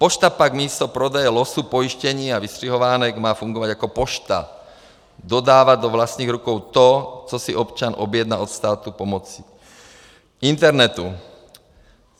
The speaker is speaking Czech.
Pošta pak místo prodeje losů, pojištění a vystřihovánek má fungovat jako pošta, dodávat do vlastních rukou to, co si občan objedná od státu pomocí internetu.